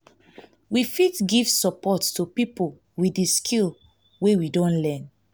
we fit give support to pipo with di skill wey we don learn